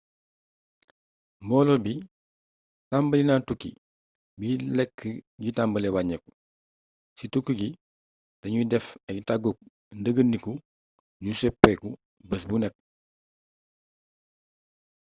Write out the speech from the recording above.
mboolo bi tàmbalina tukki bi lékk gi tambalé wañéeku ci tukki gi dañuy def ay tagguk ndegeeniku yuy soppéeku bés bu né